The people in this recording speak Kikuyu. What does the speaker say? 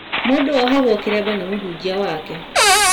Mũndũ ohagũo kĩremba ni mũhunjia wake